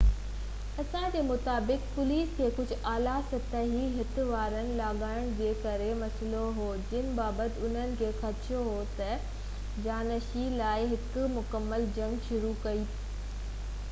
انسا جي مطابق، پوليس کي ڪجهه اعليٰ سطحي هٽ وارن لاڳاپن جي ڪري مسئلو هو جن بابت انهن کي خدشو هو ته جانشيني لاءِ هڪ مڪمل جنگ شروع ڪري پئي سگهيا